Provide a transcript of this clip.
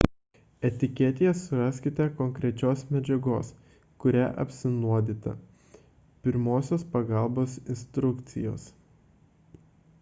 etiketėje suraskite konkrečios medžiagos kuria apsinuodyta pirmosios pagalbos instrukcijas